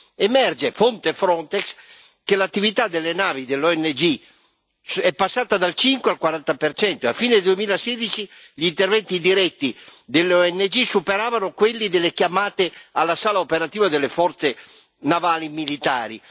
Emerge fonte Frontex che l'attività delle navi delle ONG è passata dal 5 al 40 e a fine 2016 gli interventi diretti delle ONG superavano quelli delle chiamate alla sala operativa delle forze navali militari.